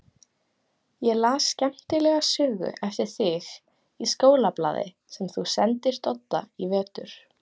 Ég las skemmtilega sögu eftir þig í skólablaði sem þú sendir Dodda í vetur.